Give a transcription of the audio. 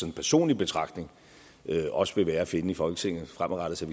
en personlig betragtning også vil være at finde i folketinget fremadrettet så